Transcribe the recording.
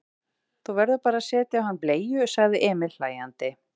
Þú verður bara að setja á hann bleiu, sagði Emil hlæjandi.